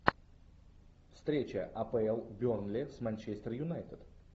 встреча апл бернли с манчестер юнайтед